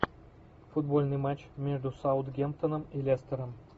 футбольный матч между саутгемптоном и лестером